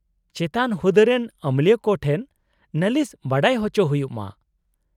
-ᱪᱮᱛᱟᱱ ᱦᱩᱫᱟᱹᱨᱮᱱ ᱟᱹᱢᱟᱹᱞᱤᱭᱟᱹ ᱠᱚ ᱴᱷᱮᱱ ᱱᱟᱹᱞᱤᱥ ᱵᱟᱰᱟᱭ ᱦᱚᱪᱚ ᱦᱩᱭᱩᱜ ᱢᱟ ᱾